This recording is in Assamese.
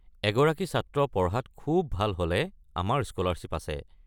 এগৰাকী ছাত্ৰ পঢ়াত খুউব ভাল হ'লে আমাৰ স্কলাৰশ্বিপ আছে।